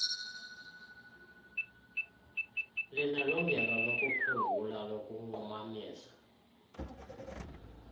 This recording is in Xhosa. linelungelo lokuphungula lokunqumamisa